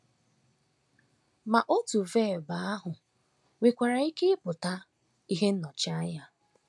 Ma otu vebụ ahụ nwekwara ike ịpụta “ ihe nnọchianya. ”